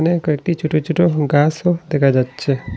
কয়েকটি ছোট ছোট গাছও দেখা যাচ্ছে।